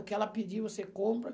O que ela pedir, você compra.